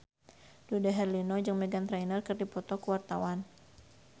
Dude Herlino jeung Meghan Trainor keur dipoto ku wartawan